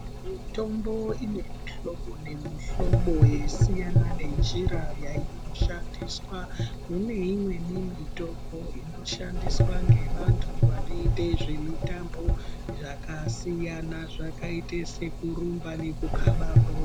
Mitombo ine mihlobo nemihlobo yeisiyana ngenjira yainoshandiswa. Kune imweni mitombo inoshandiswa ngeavantu vanoite nezvemitambo yakasiyana siyana yakaite sokurumba nekukhabe bhora.